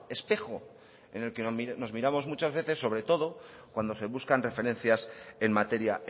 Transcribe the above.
espejo en el que nos miramos muchas veces sobre todo cuando se buscan referencias en materia